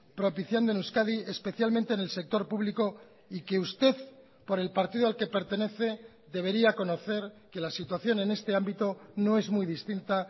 propiciando en euskadi especialmente en el sector público y que usted por el partido al que pertenece debería conocer que la situación en este ámbito no es muy distinta